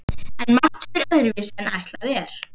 En margt fer öðruvísi en ætlað er.